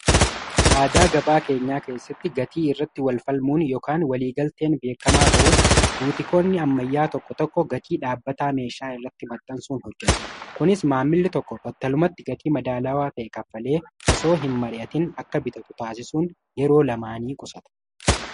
aadaa gabaa keenyaa keessatti gatii irratti walfalmuun ykan waliigalteen beekamaa ta'us guutikoonni ammayyaa tokko tokko gatii dhaabbataa meeshaa irratti maxansuun hojjetu kunis maammili tokko battalumatti gatii madaalaawaa ta'e kaffalee osoo hin mari'atin akka bitatu taasisuun yeroo lamaanii qusata